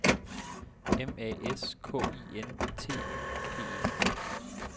M A S K I N T Y P E